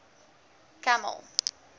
kamel